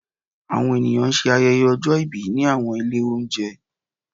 awọn eniyan sẹ ayẹyẹ òjó ibí ni awọn ilé ounjẹ